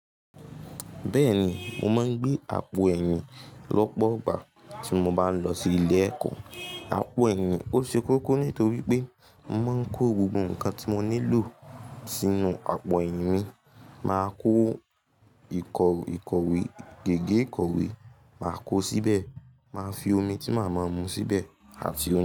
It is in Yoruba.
Bẹ́ẹ̀ ni, mo máa ń gbé àpò ẹ̀yìn lọ́pọ̀ ọgbà tí mo bá ń lọ sí ilé ẹ̀kọ́. Àpò ẹ̀yìn ó ṣe kókó nítorí pé mo máa ń kó gbogbo nǹkan tí mo nílò sínú àpò ẹ̀yìn mi. Máa kó ìkọ̀wé, gègé ìkọ̀wé màá kó síbẹ̀, màá fi omi tí màá máa mu síbẹ̀ àti ohun.